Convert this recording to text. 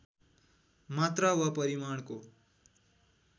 मात्रा वा परिमाणको